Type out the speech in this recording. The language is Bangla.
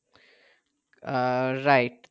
আহ right